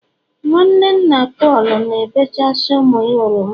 nwanne nna Paul na-ebechasị ụmụ ya oroma